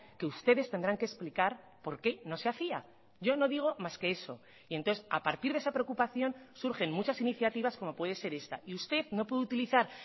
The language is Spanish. que ustedes tendrán que explicar por qué no se hacía yo no digo más que eso y entonces a partir de esa preocupación surgen muchas iniciativas como puede ser esta y usted no puede utilizar